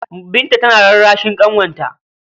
Binta tana rarrashin ƙanwarta.